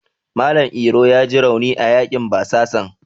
Malam Iro yaji rauni a yaƙin basasan.